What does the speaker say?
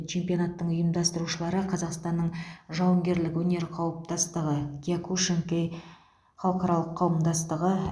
чемпионаттың ұйымдастырушылары қазақстанның жауынгерлік өнер қауымдастығы киокушинкай халықаралық қауымдастығы